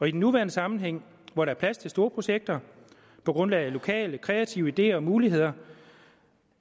i den nuværende sammenhæng hvor der er plads til store projekter på grundlag af lokale kreative ideer og muligheder